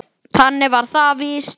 Þannig var það víst.